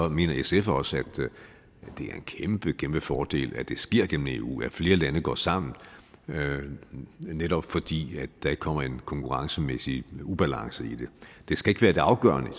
mener sf også at det er en kæmpe kæmpe fordel at det sker gennem eu at flere lande går sammen netop fordi der ikke kommer en konkurrencemæssig ubalance i det det skal ikke være det afgørende i